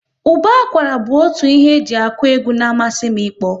Ụba akwara bụ otu ihe e ji akụ egwu na amasị m ikpo